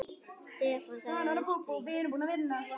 Stefán, það er stríð.